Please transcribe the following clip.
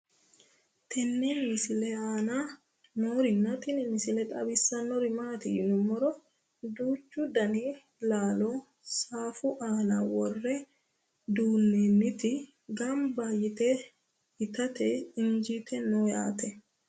tenne misile aana noorina tini misile xawissannori maati yinummoro duuchchu danni laallo saffu aanna worre duunnonnitti ganbba yiitte ittatte iinjjittue noo yaatte